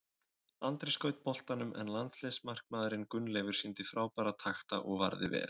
Andri skaut boltanum en landsliðsmarkmaðurinn Gunnleifur sýndi frábæra takta og varði vel.